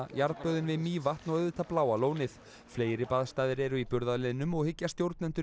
jarðböðin við Mývatn og auðvitað Bláa lónið fleiri baðstaðir eru í burðarliðnum og hyggja stjórnendur